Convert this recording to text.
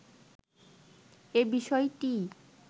এ বিষয়টিই